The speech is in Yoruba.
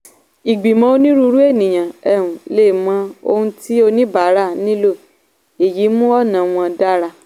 ìgbìmọ̀ onírúurú ènìyàn um lè mọ ohun tí oníbàárà nílò èyí mú ọ̀nà wọn dára.